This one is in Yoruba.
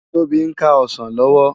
Tobi n ká òsán lòwò